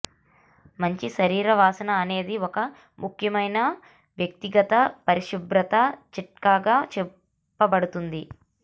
మంచి శరీర వాసన అనేది ఒక ముఖ్యమైన వ్యక్తిగత పరిశుభ్రత చిట్కాగా చెప్పబడుతుంది